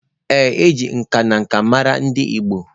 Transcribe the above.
Ee, e ji nka na nka mara ndị Igbo